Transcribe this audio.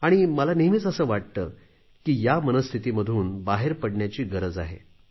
आणि मला नेहमीच असे वाटते की या मनस्थितीमधून बाहेर पडण्याची गरज आहे